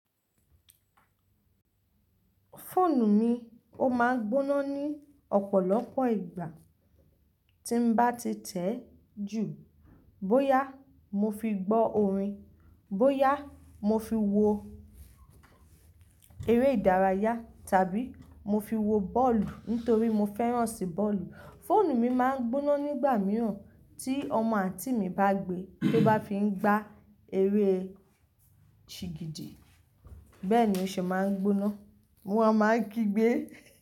Fóònù mi ó máa ń gbóná ní ọ̀pọ̀lọpọ̀ ìgbà tí n bá ti tẹ̀ ju bóyá mo fi gbọ́ orin, bóyá mo fi wo eré ìdárayá tàbí mo fi wo bọ́ọ̀lù nítorí mo fẹ́ràn sí bọ́ọ̀lù. Fóònù mi máa ń gbóná nígbà mìíràn tí ọmọ àǹtí mi bá gbe, tó bá fi ń gba eré sìgidi. Bẹ́ẹ̀ ni ó ṣe máa ń gbóná. Wọn a máa kígbe.